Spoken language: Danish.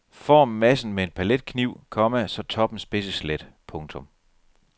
Form massen med en paletkniv, komma så toppen spidses let. punktum